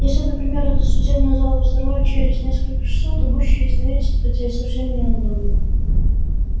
если например этот судебный зал взорвать через несколько часов то будущее изменится хотя и совсем не намного